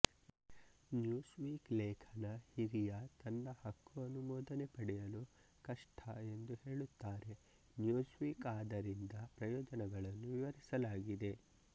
Newsweek ಲೇಖನ ಹಿರಿಯ ತನ್ನ ಹಕ್ಕು ಅನುಮೋದನೆ ಪಡೆಯಲು ಕಷ್ಟ ಎಂದು ಹೇಳುತ್ತಾರೆ ನ್ಯೂಸ್ವೀಕ್ ಆದರಿಂದ ಪ್ರಯೋಜನಗಳನ್ನು ವಿವರಿಸಲಾಗಿದೆ